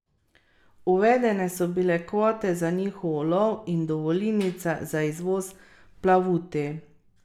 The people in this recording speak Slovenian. Uvedene so bile kvote za njihov ulov in dovolilnice za izvoz plavuti.